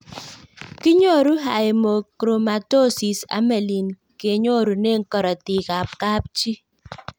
Kinyoru Haemochromatosis amelin kinyorune karatik ab kapchii